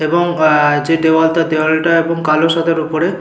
এবং আহ যে দেওয়ালটা দেওয়ালটা এবং কালো সাদার ওপরে।